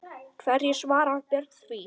Hverju svarar Björn því?